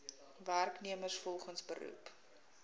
werknemers volgens beroep